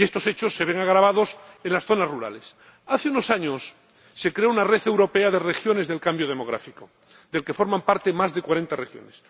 Y estos hechos se ven agravados en las zonas rurales. Hace unos años se creó una red europea de regiones del cambio demográfico de la que forman parte más de cuarenta regiones.